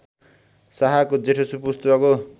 शाहका जेठा सुपुत्रको